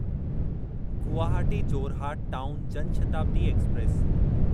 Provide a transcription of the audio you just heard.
Guwahati Jorhat town Jan Shatabdi express